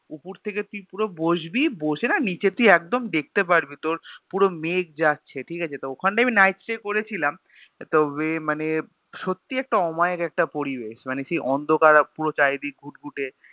উপর থেকে তুই পুরো বসবি বসে না নিচে তুই একদম দেখতে পারবি, তোর পুরো মেঘ যাচ্ছে ঠিকাছে তো ওখানে আমি Nightstay করেছিলাম তবে মানে সত্যি একটা অমায়িক একটা পরিবেশ মানে সেই অন্ধকার পুরোটা এদিক ঘুটঘুটে